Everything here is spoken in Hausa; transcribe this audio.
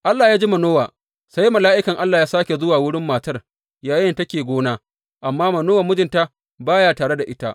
Allah ya ji Manowa, sai mala’ikan Allah ya sāke zuwa wurin matar yayinda take gona; amma Manowa mijinta ba ya tare da ita.